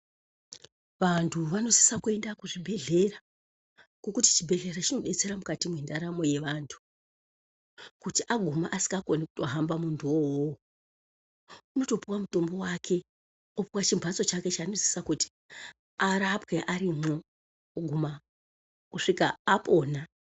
Vantu vanosisa kuenda kuzvibhedhlera ngokuti chibhehlera chinodetsera mukati mwendaramo yevantu kuti aguma asikakoni kuhamba muntu wowo unotopuwa mutombo wake opuwa chimhatso chake chanosisa kuti arapwe arimwo kuguma kusvika apona.